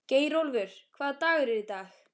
Geirólfur, hvaða dagur er í dag?